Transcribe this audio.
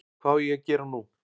Hvað á ég að gera nú?